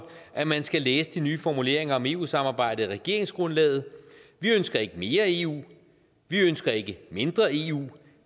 at man skal læse de nye formuleringer om eu samarbejdet i regeringsgrundlaget vi ønsker ikke mere eu vi ønsker ikke mindre eu